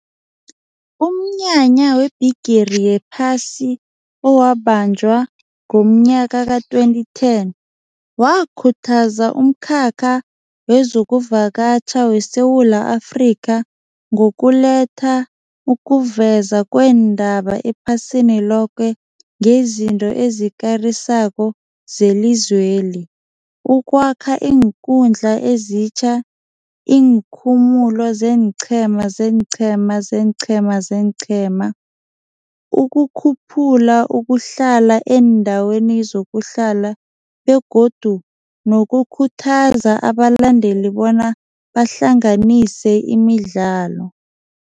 Umnyanya webhigiri yephasi owabanjwa ngomnyaka ka-twenty ten wakhuthaza umkhakha wezokuvakatjha weSewula Afrika ngokuletha ukuveza kweendaba ephasini loke ngezinto ezikarisako zelizweli, ukwakha iinkundla ezitjha, iinkhumulo zeenqhema, zeenqhema, zeenqhema, zeenqhema, ukukhuphula ukuhlala endaweni zokuhlala begodu nokukhuthaza abalandeli bona bahlanganise imidlalo.